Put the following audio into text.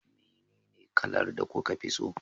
menene kalar da kuka fi so?